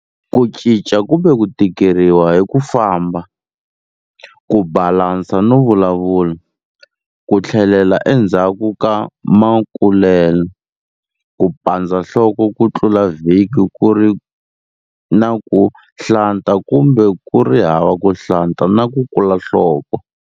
Ku cinca kumbe ku tikeriwa hi ku famba, ku balansa no vulavula, ku tlhelela endzhaku ka makulele, ku pandza nhloko ku tlula vhiki ku ri na ku nhlata kumbe ku ri hava ku hlanta na ku kula nhloko.